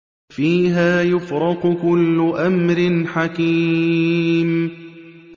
فِيهَا يُفْرَقُ كُلُّ أَمْرٍ حَكِيمٍ